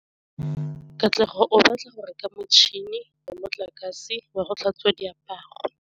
Katlego o batla go reka motšhine wa motlakase wa go tlhatswa diaparo.